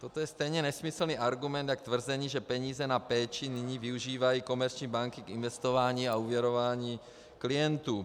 Toto je stejně nesmyslný argument jako tvrzení, že peníze na péči nyní využívají komerční banky k investování a úvěrování klientů.